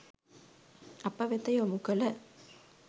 අප වෙත යොමු කළ